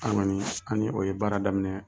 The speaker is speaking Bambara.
An kɔni an ni o ye baara daminɛ